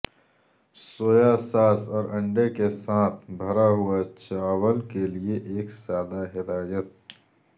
سویا sauce اور انڈے کے ساتھ بھرا ہوا چاول کے لئے ایک سادہ ہدایت